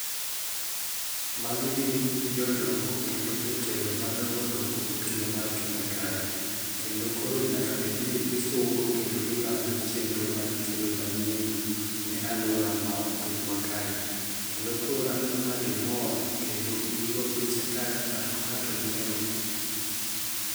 Magi gin jodongo, kendo jotelo madongo dongo e pinywa mar kenya kae. kendo koro nyaka bed ni gisungo kendo gilando chendro magikelo manyien no ne aluora mar pinywa kae. Kendo koro aneno ka gimor kendo gi go picha ka ng'ato ka ng'ato nyiero.